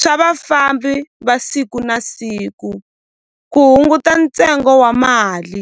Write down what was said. swa vafambi va siku na siku ku hunguta ntsengo wa mali.